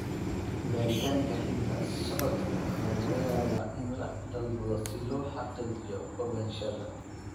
Baaritaanka hidda-socodka ayaa laga yaabaa in la dalbado si loo xaqiijiyo ogaanshaha.